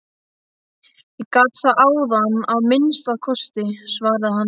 Ég gat það áðan að minnsta kosti, svaraði hann.